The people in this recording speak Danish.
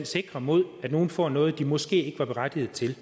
sikrer mod at nogle får noget de måske ikke var berettiget til